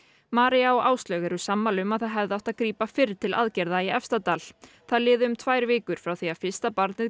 María og Áslaug eru sammála um að það hefði átt að grípa fyrr til aðgerða í Efstadal það liðu um tvær vikur frá því að fyrsta barnið